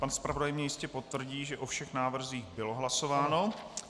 Pan zpravodaj mi jistě potvrdí, že o všech návrzích bylo hlasováno.